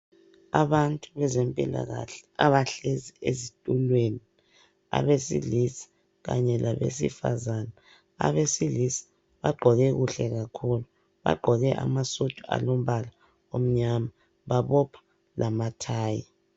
Abantu bezempilakahle abahlezi esitulweni ebesilisa kanye labesifazane abesilisa bagqoke kahle kakhulu bagqoke amasudu alombala omnyama babopha lamathayi